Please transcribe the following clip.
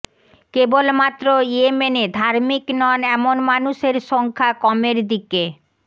কেবলমাত্র ইয়েমেনে ধার্মিক নন এমন মানুষের সংখ্যা কমের দিকে